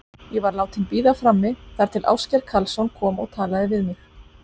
Ég var látin bíða frammi þar til Ásgeir Karlsson kom og talaði við mig.